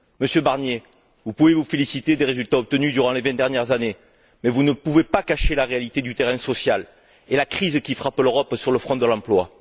Monsieur Barnier, vous pouvez vous féliciter des résultats obtenus durant les vingt dernières années, mais vous ne pouvez pas cacher la réalité du terrain social et la crise qui frappe l'Europe sur le front de l'emploi.